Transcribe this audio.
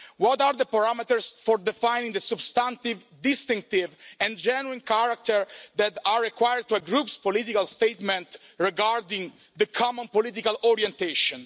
What are the parameters for defining the substantive, distinctive and genuine character that are required for a Group's political statement regarding the common political orientation?